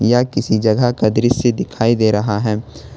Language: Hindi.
यह किसी जगह का दृश्य दिखाई दे रहा है।